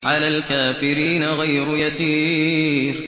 عَلَى الْكَافِرِينَ غَيْرُ يَسِيرٍ